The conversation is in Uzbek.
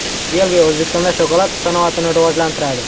Belgiya O‘zbekistonda shokolad sanoatini rivojlantiradi.